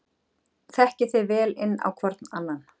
Þekkið þið vel inn á hvorn annan?